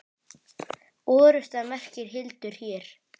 Orrusta merkir hildur hér.